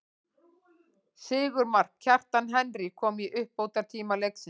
Sigurmark, Kjartans Henry kom í uppbótartíma leiksins.